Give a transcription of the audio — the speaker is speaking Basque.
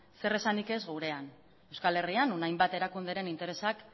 zer esanik ez gurean euskal herrian non hainbat erakundeen interesak